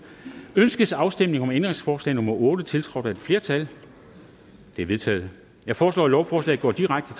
ønskes afstemning om ændringsforslag nummer otte tiltrådt af et flertal det er vedtaget jeg foreslår at lovforslaget går direkte